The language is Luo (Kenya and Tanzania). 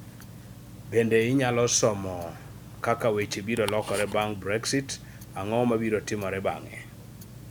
Bende inyalo somo : Kaka weche biro lokore bang' Brexit Ang'o mabiro timore bang'e?